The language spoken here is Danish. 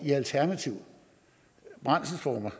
i alternative brændselsformer